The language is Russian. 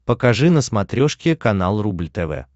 покажи на смотрешке канал рубль тв